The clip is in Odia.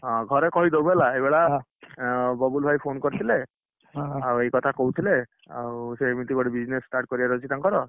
ହଁ, ଘରେ କହିଦବୁହେଲା ଏଇଭଳିଆ, ଆଁ ବାବୁଲ ଭାଇ phone କରିଥିଲେ, ଆଉ ଏଇ କଥା କହୁଥିଲେ, ଆଉ ସେ ଏମତି ଗୋଟେ business start କରିବାର ଅଛି ତାଙ୍କର।